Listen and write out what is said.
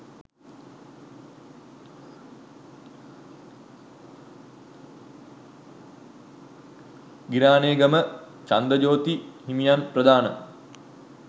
ගිරානේගම චන්දජෝති හිමියන් ප්‍රධාන